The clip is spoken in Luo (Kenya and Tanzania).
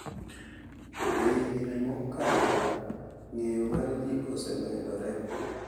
E higni mokalo, ng’eyo mar ji osemedore .